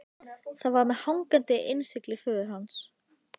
Það var með hangandi innsigli föður hans.